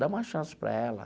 Dá uma chance para ela.